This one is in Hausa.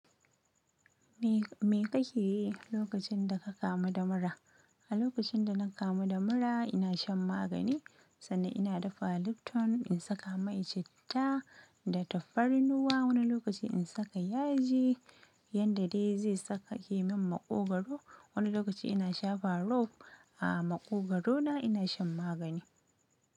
Me kake yi lokacin da ka kamu da mura? A lokacin da na kamu da mura ina shan magani, sanda ina dafa Lipton in saka mai citta da tafarnuwa, wani lokaci in saka yaji, yanda dai zai saka yi min maƙogwaro. Wani lokaci ina shafa rob, a maƙogwaro na ina shan magani.